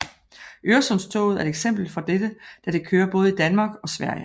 Øresundstoget er et eksempel for dette da det kører både i Danmark og Sverige